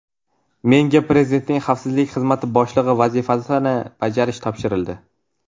Menga Prezidentning Xavfsizlik Xizmati boshlig‘i vazifasini bajarish topshirildi.